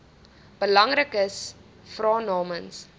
belangriks vra namens